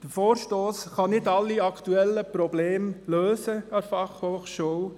Der Vorstoss kann nicht alle aktuellen Probleme der BFH lösen.